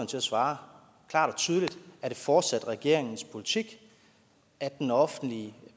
til at svare klart og tydeligt er det fortsat regeringens politik at den offentlige